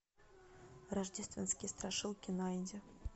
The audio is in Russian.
рождественские страшилки найди